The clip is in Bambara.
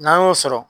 N'an y'o sɔrɔ